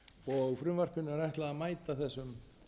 og frumvarpinu er ætlað að mæta þessum